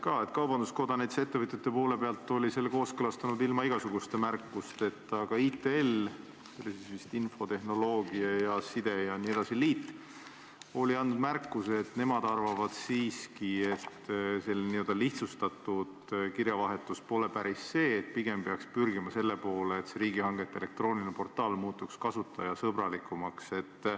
Näiteks kaubandus-tööstuskoda oli selle eelnõu ettevõtjate poole pealt kooskõlastanud ilma igasuguste märkusteta, aga ITL – see oli vist infotehnoloogia ja telekommunikatsiooni liit – oli teinud märkuse, et nemad arvavad siiski, et selline n-ö lihtsustatud kirjavahetus pole päris õige ja pigem peaks pürgima selle poole, et riigihangete elektrooniline portaal muutuks kasutajasõbralikumaks.